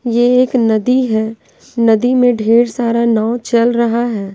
यह एक नदी है नदी में ढेर सारा नाँव चल रहा है।